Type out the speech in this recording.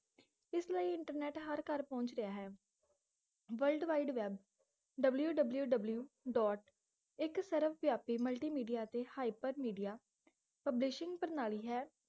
ਇਸ ਲਈ ਇੰਟਰਨੇਟ ਹਰ ਘਰ ਪਹੁੰਚ ਰਿਹਾ ਹੈ worldwide webwww ਡੋਟ ਇੱਕ ਸ੍ਰਵਵਯਾਪੀ multimedia ਅਤੇ hypermedia publishing ਪ੍ਰਣਾਲੀ ਹੈ